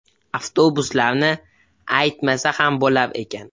Avtobuslarni aytmasa ham bo‘lar ekan.